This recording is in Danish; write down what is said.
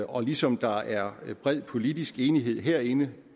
og ligesom der er bred politisk enighed herinde